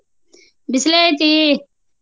ಬಿಸಲೆ ಐತಿ?